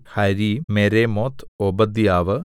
harem Meremoth ഓബദ്യാവ്